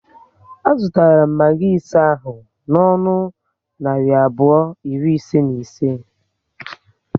A zụtara m magi ise ahụ n'ọnụ narị abụọ iri ise na ise